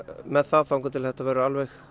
með það þar til þetta verður